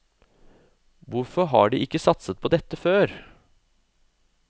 Hvorfor har de ikke satset på dette før?